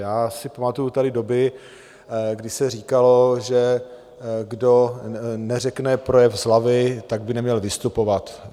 Já si pamatuji tady doby, kdy se říkalo, že kdo neřekne projev z hlavy, tak by neměl vystupovat.